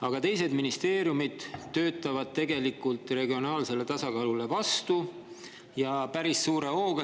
Aga teised ministeeriumid töötavad tegelikult regionaalsele tasakaalule vastu, ja päris suure hooga.